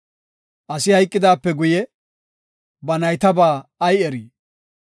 Asi hayqidaape guye, ba naytabaa ay erii?